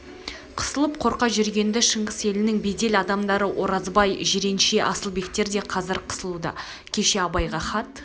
қысылып қорқа жүрген-ді шыңғыс елінің беделді адамдары оразбай жиренше асылбектер де қазір қысылуда кеше абайға хат